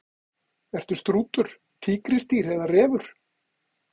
Ertu strútur, tígrisdýr eða refur?